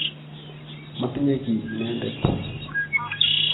Matinye ki inendet.